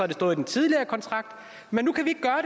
det stået i den tidligere kontrakt men